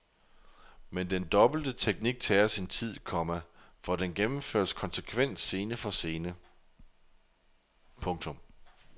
Men den dobbelte teknik tager sin tid, komma for den gennemføres konsekvent scene for scene. punktum